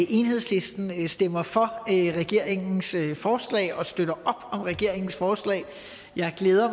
at enhedslisten stemmer for regeringens forslag og støtter op om regeringens forslag jeg glæder